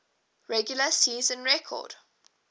regular season record